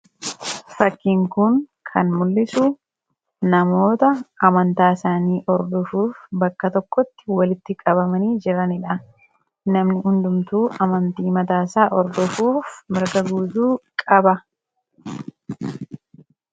Fakkiin kun kan mul'isu namoota amantaa isaanii hordofuuf bakka tokkotti walitti qabamanii jiranidha. Namni hundumtuu amantii mataa isaa hordofuuf mirga guutuu qaba.